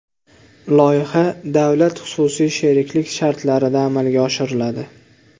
Loyiha davlat-xususiy sheriklik shartlarida amalga oshiriladi.